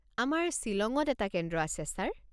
আমাৰ শ্বিলঙত এটা কেন্দ্ৰ আছে, ছাৰ।